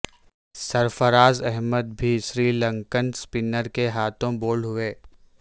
سرفراز احمد بھی سری لنکن سپنر کے ہاتھوں بولڈ ہوئے